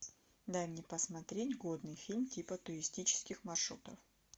дай мне посмотреть годный фильм типа туристических маршрутов